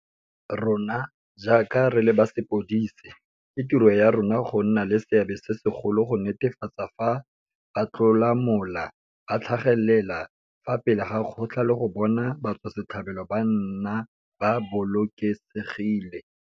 Rona, jaaka re le ba sepodisi, ke tiro ya rona go nna le seabe se segolo go netefatsa fa batlolamola ba tlhagelela fa pele ga kgotla le go bona batswasetlhabelo ba nna ba bolokesegile.